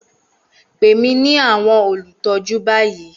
Pè mí ní àwọn olùtọ́jú báyìí!